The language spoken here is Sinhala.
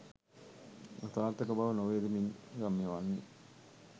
අසාර්ථක බව නොවේද මින් ගම්‍ය වන්නේ.